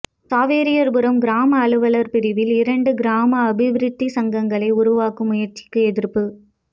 சவேரியார்புரம் கிராம அலுவலகர் பிரிவில் இரண்டு கிராம அபிவிருத்திச்சங்கங்களை உருவாக்கும் முயற்சிக்கு எதிர்ப்பு